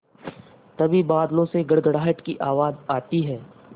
तभी बादलों से गड़गड़ाहट की आवाज़ आती है